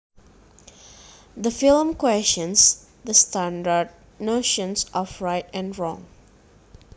The film questions the standard notions of right and wrong